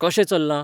कशें चल्लां?